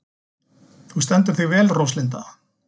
Þú stendur þig vel, Róslinda!